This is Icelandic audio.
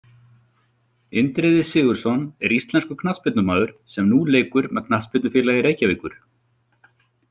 Indriði Sigurðsson er íslenskur knattspyrnumaður sem nú leikur með Knattspyrnufélagi Reykjavíkur.